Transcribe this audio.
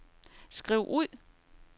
skriv ud